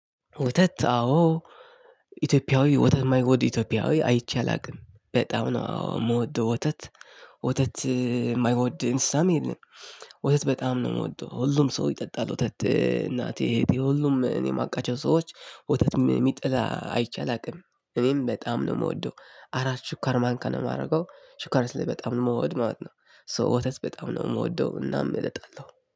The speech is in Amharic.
ወተት አዎ ኢትዮጵያዊ ወተት ማይወድ ኢትዮጵያዊ አይቼ አላቅም በጣም ነው አዎ የምወደው ወተት ወተት የማይወድ እንስሳም የለም። ወተት በጣም ነው የምወደው ሁሉም ሰው ይጠጣል ወተት እናቴ እህቴ ሁሉም እኔ የማቃቸው ሰዎች። ወተት የሚጠላ አይቼ አላውቅም እኔም በጣም ነው የምወደው። አራት ሽኳር ማንካ ነው የማደርገው። ሽኳር ስለ በጣም ነው የምወድ ማለት ነው። ሶ ወተስ በጣም ነው የምወደው እናም እጠጣለው